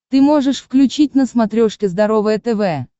ты можешь включить на смотрешке здоровое тв